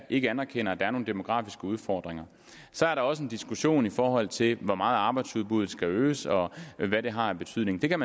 ikke anerkender at der er nogle demografiske udfordringer så er der også en diskussion i forhold til hvor meget arbejdsudbuddet skal øges og hvad det har af betydning det er